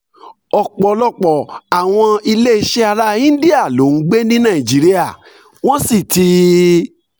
ọ̀pọ̀lọpọ̀ àwọn ilé iṣẹ́ ará íńdíà ló ń gbé ní nàìjíríà wọ́n sì ti